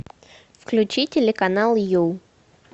включи телеканал ю